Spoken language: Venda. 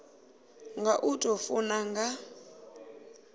nga u tou funa nga